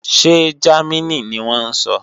Ṣé Jámínì ni wọ́n ń sọ?